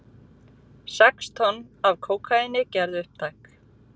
Sex tonn af kókaíni gerð upptæk